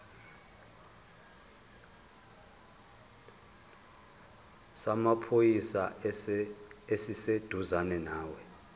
samaphoyisa esiseduzane nawe